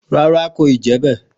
Ràrá, kò yìí mú tàn.